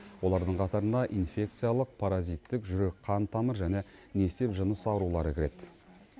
олардың қатарына инфекциялық паразиттік жүрек қан тамыр және несеп жыныс аурулары кіреді